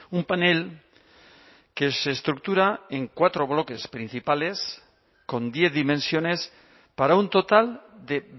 un panel que se estructura en cuatro bloques principales con diez dimensiones para un total de